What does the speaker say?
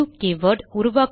new keyword